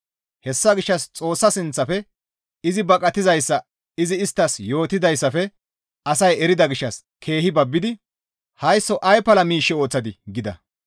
Hessa gishshas Xoossa sinththafe izi baqatizayssa izi isttas yootidayssafe asay erida gishshas keehi Babbidi, «Haysso ay pala miish ooththadii?» gida.